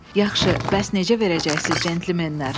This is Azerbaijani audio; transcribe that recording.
Yaxşı, bəs nəyi necə verəcəksiz, centlmenlər?